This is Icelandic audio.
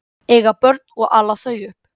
Eiga börn og ala þau upp.